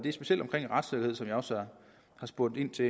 er specielt omkring retssikkerheden som jeg også har spurgt ind til